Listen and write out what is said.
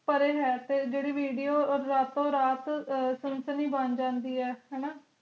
ਪਾਰ ਆਏ ਹੈਕੇ ਜੇਰੀ ਵੀਡੀਓ ਰਾਤੋ ਰਾਤ company ਬਣ ਜਾਂਦੀ ਹੈ ਨਾ